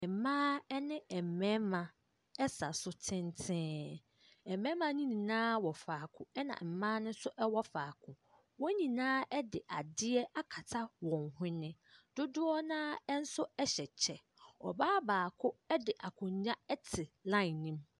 Mmaa ɛne mmarima ɛsa so tenten mmarima nyinaa wɔ faako ɛna mmaa no nso ɛwɔ faako wɔn nyinaa ɛde adeɛ akata wɔn hwene dodoɔ naa ɛnso ɛhyɛ kyɛ obaa baako ɛde akonnwa ɛte lain no mu.